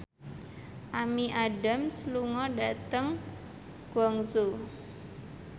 Amy Adams lunga dhateng Guangzhou